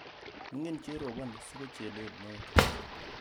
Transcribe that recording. Mining cherobon siko chelel neo